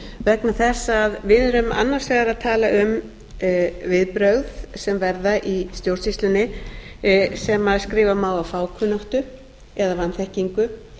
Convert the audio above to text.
vegna þess að við erum annars vegar að tala um viðbrögð sem verða í stjórnsýslunni sem skrifa má á fákunnáttu eða vanþekkingu